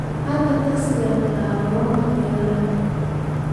halkan tagsi tag garoonka diyaaradaha